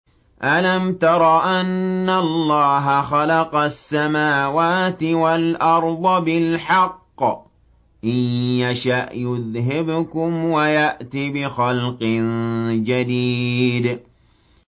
أَلَمْ تَرَ أَنَّ اللَّهَ خَلَقَ السَّمَاوَاتِ وَالْأَرْضَ بِالْحَقِّ ۚ إِن يَشَأْ يُذْهِبْكُمْ وَيَأْتِ بِخَلْقٍ جَدِيدٍ